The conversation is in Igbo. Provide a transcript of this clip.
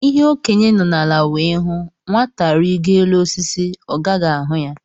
Ihe Okenye nọ ala wee hụ, Nwata rigoo elu osisi, ọ gaghị ahụ ya